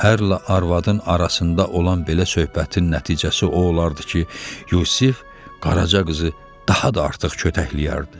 Ərlə arvadın arasında olan belə söhbətin nəticəsi o olardı ki, Yusif Qaraca qızı daha da artıq kötəkləyərdi.